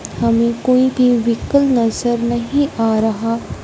हमें कोई भी व्हीकल नजर नहीं आ रहा--